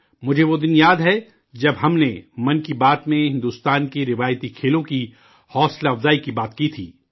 مجھے وہ دن یاد ہے، جب ہم نے 'من کی بات' میں ہندوستان کے روایتی کھیلوں کو ترغیب دینے کی بات کی تھی